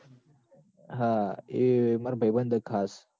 હા એ માર ભાઈબંધ હ ખાસ